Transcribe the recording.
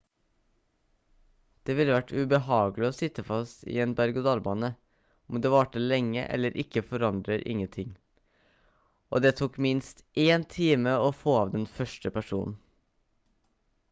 «det ville vært ubehagelig å sitte fast i en berg og dalbane om det varte lenge eller ikke forandrer ingenting og det tok minst én time å få av den første personen.»